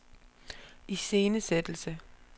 iscenesættelse